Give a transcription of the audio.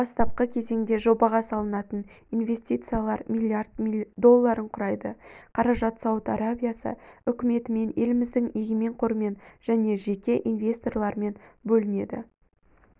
бастапқы кезеңде жобаға салынатын инвестициялар миллиард долларын құрайды қаражат сауд арабиясы үкіметімен еліміздің егемен қорымен және жеке инвесторлармен бөлінеді